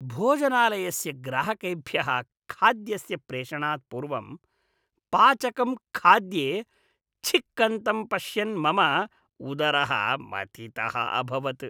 भोजनालयस्य ग्राहकेभ्यः खाद्यस्य प्रेषणात् पूर्वं पाचकं खाद्ये छिक्कन्तं पश्यन् मम उदरः मथितः अभवत्।